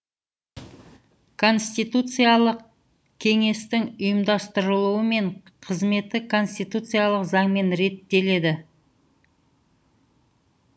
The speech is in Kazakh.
конституциялық кеңестің ұйымдастырылуы мен қызметі конституциялық заңмен реттеледі